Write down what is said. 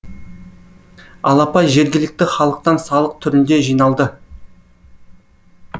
алапа жергілікті халықтан салық түрінде жиналды